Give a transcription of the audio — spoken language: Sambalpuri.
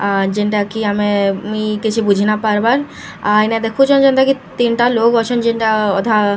ଆ ଯେଣ୍ଟା କି ଆମେ ମୁଇଁ କିଛି ବୁଝି ନାଇ ପାରବାର୍‌ ଆ ଇନ ଦେଖୁଛନ୍‌ ଯେନ୍ତା କି ତିନ୍‌ ଟା ଲୋକ୍‌ ଅଛନ୍‌ ଯେଣ୍ଟା ଅଧା ଦୁଇ ଯ--